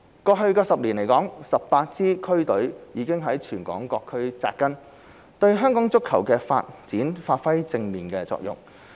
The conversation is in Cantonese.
過去10年來 ，18 支區隊已在全港各區扎根，對香港足球的發展發揮正面作用。